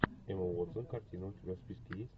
эмма уотсон картина у тебя в списке есть